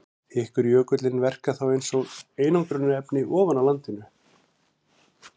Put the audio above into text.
Þykkur jökullinn verkar þá eins og einangrunarefni ofan á landinu.